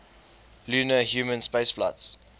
lunar human spaceflights